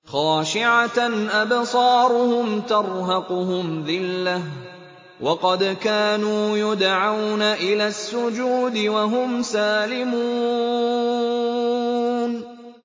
خَاشِعَةً أَبْصَارُهُمْ تَرْهَقُهُمْ ذِلَّةٌ ۖ وَقَدْ كَانُوا يُدْعَوْنَ إِلَى السُّجُودِ وَهُمْ سَالِمُونَ